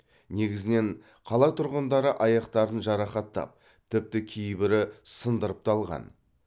негізінен қала тұрғындары аяқтарын жарақаттап тіпті кейбірі сындырып та алған